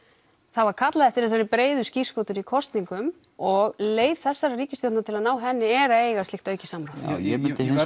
það var kallað eftir þessari breiðu skírskotun í kosningum og leið þessarar ríkisstjórnar til að ná henni er að eiga slíkt aukið samráð ég